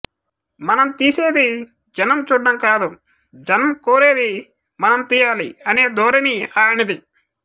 మనం తీసేది జనం చూడ్డం కాదు జనం కోరేది మనం తీయాలి అనే ధోరణి ఆయనది